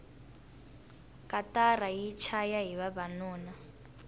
katara yi chaya hi vavanuna